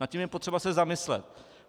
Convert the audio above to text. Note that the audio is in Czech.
Nad tím je potřeba se zamyslet.